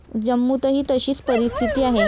जम्मूतही तशीच परिस्थिती आहे.